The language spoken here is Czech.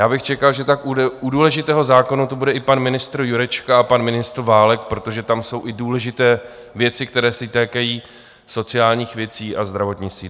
Já bych čekal, že u tak důležitého zákona tu bude i pan ministr Jurečka a pan ministr Válek, protože tam jsou i důležité věci, které se týkají sociálních věcí a zdravotnictví.